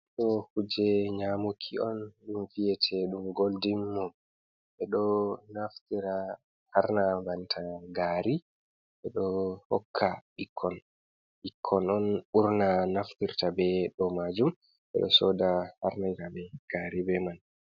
Ɗoo kuuje nyaamuki on ɗum vi'eteeɗum goldin mu. Ɓe ɗo naftira harna banta gaari, ɓe ɗo hokka ɓikkon, ɓikkoy on ɓurnaa naftirta bee ɗoo maajum, ɓe ɗo sooda harnana ɓe gaari bee man.